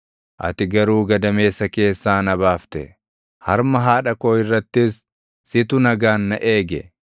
Ati garuu gadameessa keessaa na baafte; harma haadha koo irrattis, situ nagaan na eege.